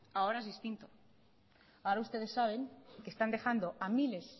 ahora es distinto ahora ustedes saben que están dejando a miles